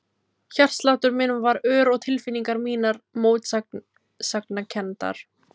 Hjartsláttur minn varð ör og tilfinningar mínar mótsagnakenndar.